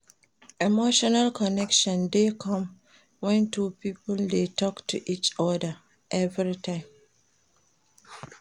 Emotional connection de come when two pipo de talk to each other everytime